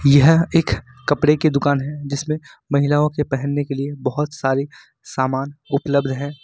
यह एक कपड़े की दुकान है जिसमें महिलाओं के पहनने के लिए बहुत सारी सामान उपलब्ध है।